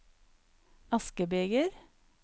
askebeger